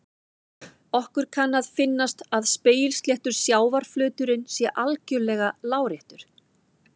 Okkur kann að finnast að spegilsléttur sjávarflöturinn sé algjörlega láréttur.